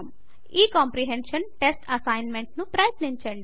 ఈ comprehension test assignment ను ప్రయత్నించండి